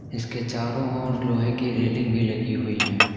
इसके चारों ओर लोहे की रेलिंग भी लगी हुई हैं।